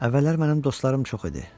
Əvvəllər mənim dostlarım çox idi.